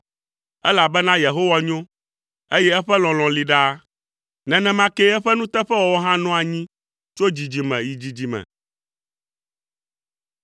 Elabena Yehowa nyo, eye eƒe lɔlɔ̃ li ɖaa; nenema kee eƒe nuteƒewɔwɔ hã nɔa anyi tso dzidzime yi dzidzime.